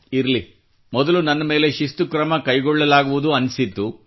ಇರಲಿ ಮೊದಲು ನನ್ನ ಮೇಲೆ ಶಿಸ್ತು ಕ್ರಮ ಕೈಗೊಳ್ಳಲಾಗುವುದು ಅನ್ನಿಸಿತ್ತು